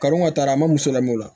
Kanu ka taa a ma muso lamɛn o la